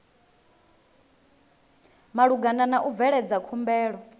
malugana na u bveledza khumbelo